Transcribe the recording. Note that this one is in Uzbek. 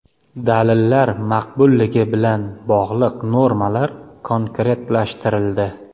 Dalillar maqbulligi bilan bog‘liq normalar konkretlashtirildi.